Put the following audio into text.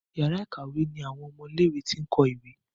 Yàrá ìkàwé ní àwọn ọmọ ilé ìwé t'in kọ ìwé.